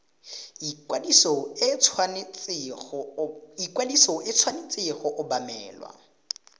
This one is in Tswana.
ikwadiso e tshwanetse go obamelwa